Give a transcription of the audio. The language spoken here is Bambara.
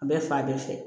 A bɛ fa bɛɛ fɛ